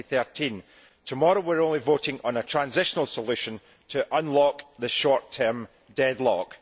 2013. Tomorrow we are only voting on a transitional solution to unlock the short term deadlock.